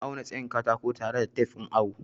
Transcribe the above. Ina auna tsayin katako tare da tef ɗin awo.